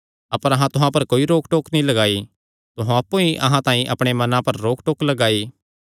अपर अहां तुहां पर कोई रोकटोक नीं लगाई तुहां अप्पु ई अहां तांई अपणे मनां पर रोक टोक लगाई